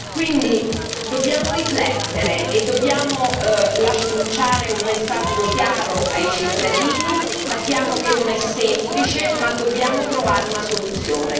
Quindi, dobbiamo riflettere e dobbiamo lanciare un messaggio chiaro ai cittadini, sappiamo che non è semplice, ma dobbiamo trovare una soluzione.